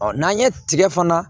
n'an ye tigɛ fana